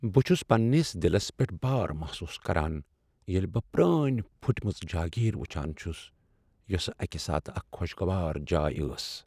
بہٕ چھس پننس دلس پیٚٹھ بار محسوس کران ییٚلہ بہٕ پرٛانۍ پھٔٹمٕژ جاگیر وٕچھان چُھس یس اکہ ساتہٕ اکھ خوشگوار جاے ٲس۔